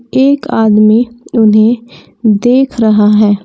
एक आदमी उन्हें देख रहा है।